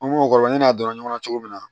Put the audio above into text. An b'o kɔnɔ ne n'a dɔnna ɲɔgɔnna cogo min na